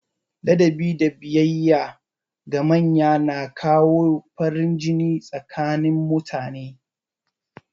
Ladabi da biyayya ga manya na kawo farin jini tsakanin mutane.